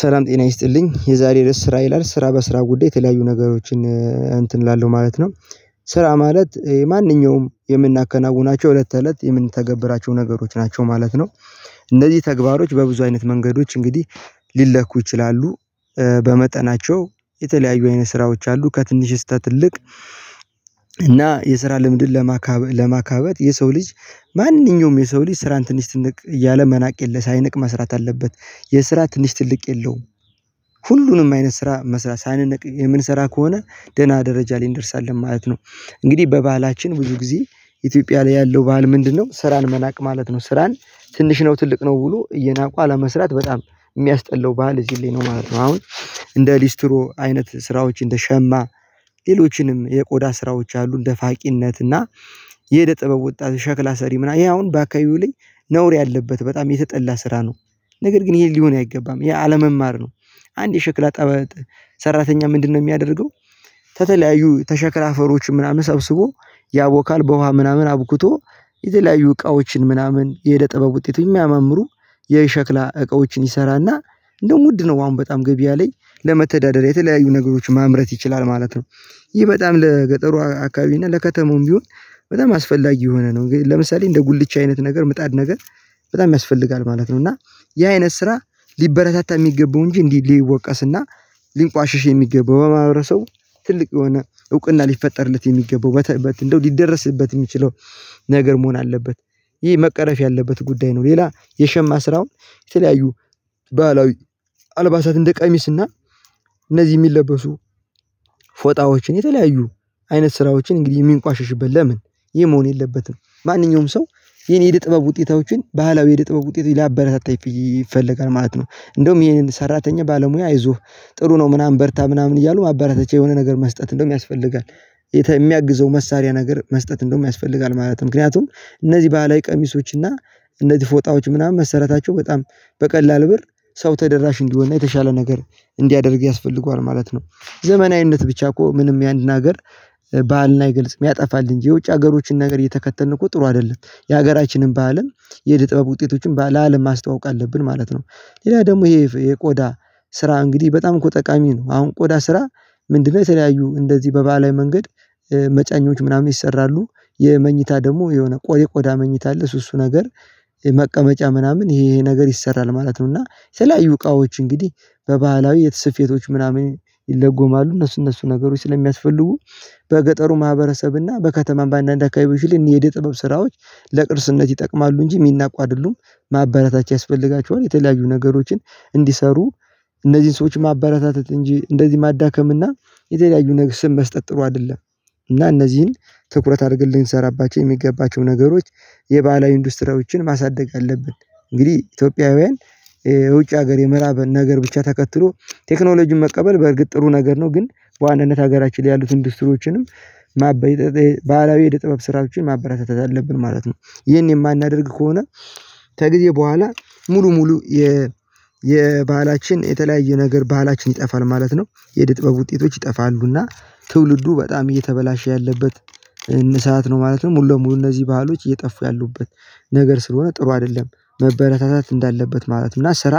ሰላም ጤና ይስጥልኝ የዛሬ ርዕስ ስራ ይላል ስራ በስራ ጉዳይ የተለያዩ ነገሮችን እንትን እላለሁ ማለት ነው። ስራ ማለት የማንኛውም የምናከናውናቸው እለት ተእለት የምንተገብራቸው ነገሮች ናቸው ማለት ነው። እነዚህ ተግባሮች በብዙ አይነት መንገዶች እንግዲህ ሊለኩ ይችላሉ። በመጠናቸው የተለያዩ አይነት ስራዎች አሉ ከትንሽ እስተ ትልቅ። እና የስራ ልምድን ለማካበት የሰው ልጅ ማንኛውም የሰው ልጅ ስራን ትንሽ ትልቅ እያለ መናቅ የለ ሳይንቅ መስራት አለበት። የስራ ትንሽ ትልቅ የለውም። ሁሉንም አይነት ስራ መስራት ሳንነቅ የምንሰራ ከሆነ ደህና ደረጃ ላይ እንደርሳለን ማለት ነው። እንግዲህ በባህላችን ብዙ ጊዜ ኢትዮጵያ ላይ ያለው ባህል ምንድነው? ስራን መናቅ ማለት ነው ስራን ትንሽ ነው ትልቅ ነው ብሎ እየናቁ አለመስራት በጣም የሚያስጠላው ባህል እዚህ ላይ ነው ማለት ነው። አሁን እንደ ሊስትሮ አይነት ስራዎች እንደ ሸማ ሌሎችንም የቆዳ ስራዎች አሉ። እንደ ፋቂነት እና የእደጥበብ ወጣት ሸክላ ሰሪ ምናምን ይሄ አሁን በአካባቢው ላይ ነውር ያለበት በጣም የተጠላ ስራ ነው። ነገር ግን ይሄ ሊሆን አይገባም ያ አለመማር ነው። አንድ የሸክላ ጠበት ሰራተኛ ምንድነው የሚያደርገው? ተተለያዩ ተሸክላ አፈሮች ምናምን ሰብስቦ ያቦካል በውሃ ምናምን አብኩቶ የተለያዩ እቃዎችን ምናምን የእደጥበብ ውጤት የሚያማምሩ የሸክላ እቃዎችን ይሰራና እንደውም ውድ ነው አሁን በጣም ገብያ ላይ ለመተዳደር የተለያዩ ነገሮች ማምረት ይችላል ማለት ነው። ይህ በጣም ለገጠሩ አካባቢ እና ለከተማውም ቢሆን በጣም አስፈላጊ ሆነ ነው እንግዲህ ለምሳሌ እንደ ጉልቻ አይነት ነገር ምጣድ ነገር በጣም ያስፈልጋል ማለት ነው። እና ያ አይነት ስራ ሊበረታታ የሚገባው እንጂ እንዲህ ሊወቀስ እና ሊንቋሽሽ የሚገባው በማህበረሰቡ ትልቅ የሆነ እውቅ እና ሊፈጠርለት የሚገባው እንደው ሊደረስበት የሚችለው ነገር መሆን አለበት። ይሄ መቀረፍ ያለበት ጉዳይ ነው። ሌላ የሸማ ስራውን የተለያዩ አልባሳት እንደ ቀሚስ እና እነዚህ የሚለበሱ ፎጣዎችን የተለያዩ አይነት ስራዎችን እንግዲህ የሚንቋሽሽበት ለምን ይህ መሆን የለበትም። ማንኛውም ሰው የህን የእደ ጥበብ ውጤቶችን ባህላዊ የእደጥበብ ውጤት ሊያበረታታ ይፈለጋል ማለት ነው። እንደውም ይሄንን ሰራተኛ ባለሙያ አይዞህ ጥሩ ነው ምናምን በርታ ምናምን እያሉ ማበራተቻ የሆነ ነገር መስጠት እንደውም ያስፈልጋል። የሚያግዘው መሳሪያ ነገር መስጠት እንደውም ያስፈልጋል ማለት ነው ምክንያቱም እነዚህ ባህላዊ ቀሚሶች እና እነዚህ ፎጣዎች ምናምን መሰራታቸው በጣም በቀላል ብር ሰው ተደራሽ እንዲሆን እና የተሻለ ነገር እንዲያደርግ ያስፈልገዋል ማለት ነው። ዘመናዊነት ብቻ እኮ ምንም ያንን ሀገር ባህል ይገልጽ ያጠፋል እንጂ የውጭ ሀገሮችን ነገር እየተከተልን እኮ ጥሩ አይደለም የሀገራችንን ባህልም የእደጥበብ ውጤቶችን ለአለም ማስተዋወቅ አለብን ማለት ነው። ሌላ ደግሞ ይሄ የቆዳ ስራ እንግዲህ በጣም እኮ ጠቃሚ ነው። አሁን ቆዳ ስራ ምንድነው የተለያዩ እንደዚህ በባህላዊ መንገድ መጫኞች ምናምን ይሰራሉ። የመኝታ ደግሞ የሆነ ቆሬ ቆዳ መኝታ አለ እሱ እሱ ነገር የመቀመጫ ምናምን ይሄ የሄ ነገር ይሰራል ማለት ነው። እና የተለያዩ እቃዎች እንግዲህ በባህላዊ የት ስፌቶች ምናምን ይለጎማሉ እነሱ እነሱ ነገሮች ስለሚያስፈልጉ በገጠሩ ማህበረሰብ እና በከተማም በአንዳንድ አካባቢዎች ላይ የእደ ጥበብ ስራዎች ለቅርስነት ይጠቅማሉ እንጂ የሚናቋ አይደሉም። ማበረታቻ ያስፈልጋቸዋል የተለያዩ ነገሮችን እንዲሰሩ እነዚህን ሰዎች ማበረታተት እንጂ እንደዚህ ማዳከም እና የተለያዩ ነገር ስም መስጠት ጥሩ አይደለም። እና እነዚህን ትኩረት አድርገን ልንሰራባቸው የሚገባቸው ነገሮች የባህላዊ ኢንዱስትሪዎችን ማሳደግ አለብን። እንግዲህ ኢትዮጵያውያን የውጭ ሀገር የምዕራብን ነገር ብቻ ተከትሎ ቴክኖሎጂን መቀበል በእርግጥ ጥሩ ነገር ነው ግን በዋነነት ሀገራችን ላይ ያሉትን ኢንዱስትሪዎችንም ማበራት ባህላዊ የእደጥበብ ስራዎችን ማበረታታት አለብን ማለት ነው። ይሄን የማናደርግ ከሆነ ከጊዜ በኋላ ሙሉ ሙሉ የባህላችን የተለያየ ነገር ባህላችን ይጠፋል ማለት ነው። የእድጥበብ ውጤቶች ይጠፋሉ እና ትውልዱ በጣም እየተበላሸ ያለበት ንሳአት ነው ማለትም ሙሉ ለሙሉ እነዚህ ባህሎች እየጠፉ ያሉበት ነገር ስለሆነ ጥሩ አይደለም። መበረታታት እንዳለበት ማለት ነው እና ስራ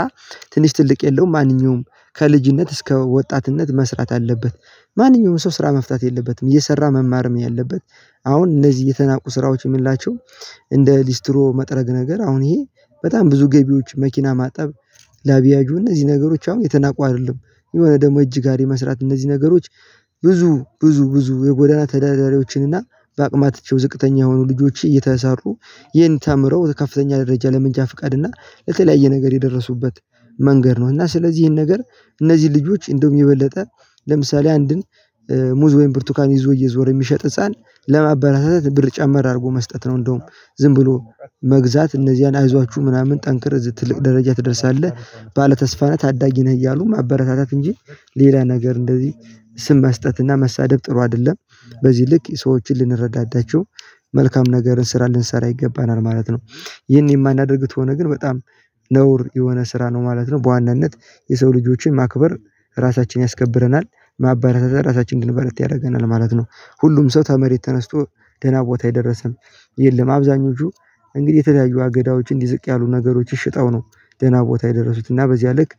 ትንሽ ትልቅ የለውም ማንኛውም ከልጅነት እስከ ወጣትነት መስራት አለበት። ማንኛውም ሰው ስራ መፍታት የለበትም እየሰራ መማርም ያለበት አሁን እነዚህ የተናቁ ስራዎች የምንላቸው እንደ ሊስትሮ መጥረግ ነገር አሁን ይሄ በጣም ብዙ ገቢዎች መኪና ማጠብ ላብያጆ እነዚህ ነገሮች አሁን የተናቁ አይደሉም። የሆነ ደግሞ እጅ ጋሪ መስራት እነዚህ ነገሮች ብዙ ብዙ ብዙ የጎዳና ተዳዳሪዎችን እና በአቅማቸው ዝቅተኛ የሆኑ ልጆች እየተሰሩ ይህን ተምረው ከፍተኛ ደረጃ ለመንጃ ፍቃድ እና ለተለያየ ነገር የደረሱበት መንገድ ነው። እና ስለዚህ ይሄን ነገር እነዚህ ልጆች እንደውም የበለጠ ለምሳሌ አንድን ሙዝ ወይም ብርቱካን ይዞ እየዞረ የሚሸጥ ህፃን ለማበረታታት ብር ጨመር አድርጎ መስጠት ነው እንደውም ዝም ብሎ መግዛት እነዚህን አይዟችሁ ምናምን ጠንክር ትልቅ ደረጃ ትደርሳለህ ባለተስፋ ነህ ታዳጊ ነህ እያሉ ማበረታታት እንጂ ሌላ ነገር እንደዚህ ስም መስጠት እና መሳደብ ጥሩ አይደለም። በዚህ ልክ ሰዎችን ልንረዳዳቸው መልካም ነገርን ስራ ልንሰራ ይገባናል ማለት ነው። ይሄን የማናደርግ ተሆነ ግን በጣም ነውር የሆነ ስራ ነው ማለት ነው። በዋናነት የሰው ልጆችን ማክበር ራሳችን ያስከብረናል ማባረታታት ራሳችን እንድንበረታ ያደርገናል ማለት ነው። ሁሉም ሰው ተመሬት ተነስቶ ደህና ቦታ የደረሰ የለም። አብዛኞቹ እንግዲህ የተለያዩ አገዳዎች እንዲ ዝቅ ያሉ ነገሮችን ሽጠው ነው ደህና ቦታ የደረሱት እና በዚያ ልክ